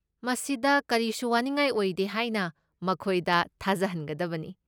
ꯃꯁꯤꯗ ꯀꯔꯤꯁꯨ ꯋꯥꯅꯤꯉꯥꯏ ꯑꯣꯏꯗꯦ ꯍꯥꯏꯅ ꯃꯈꯣꯏꯗ ꯊꯥꯖꯍꯟꯒꯗꯕꯅꯤ꯫